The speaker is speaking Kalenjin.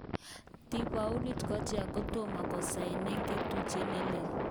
Thibault Courtois kotomo kosainen ngotutyet neleel,